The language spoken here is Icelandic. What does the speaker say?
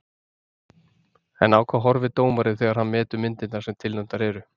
En á hvað horfir dómarinn þegar hann metur myndirnar sem tilnefndar eru?